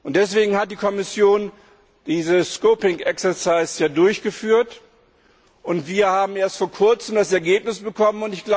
Deswegen hat die Kommission ja dieses scoping exercise durchgeführt, und wir haben erst vor Kurzem das Ergebnis bekommen.